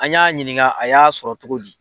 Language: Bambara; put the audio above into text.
An y'a ɲininka a y'a sɔrɔ cogo di.